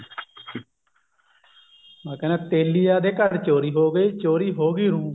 ਹਾਂ ਕਹਿੰਦੇ ਤੇਲੀਆਂ ਦੇ ਘਰ ਚੋਰੀ ਹੋ ਗਈ ਚੋਰੀ ਹੋ ਗਈ ਰੂੰ ਵੇ ਜਾਏ ਵੱਢੀ ਦਿਆ